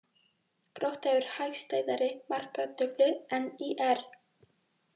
Grótta hefur hagstæðari markatölu en ÍR